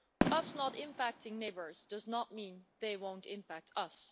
Us not impacting neighbours does not mean they won't impact us.